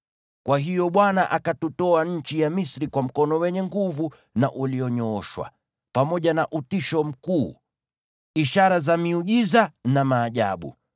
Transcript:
Kwa hiyo Bwana akatutoa nchi ya Misri kwa mkono wenye nguvu na ulionyooshwa, pamoja na utisho mkuu, ishara za miujiza na maajabu.